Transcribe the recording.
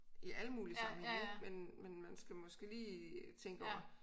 I alle mulige sammenhænge ik men man skal måske lige tænke over